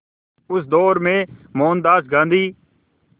उस दौर में मोहनदास गांधी